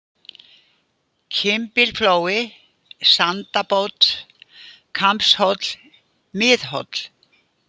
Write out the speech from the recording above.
Kimbilflói, Sandabót, Kambshóll, Mið-Hóll